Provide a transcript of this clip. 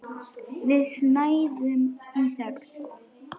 Við snæðum í þögn.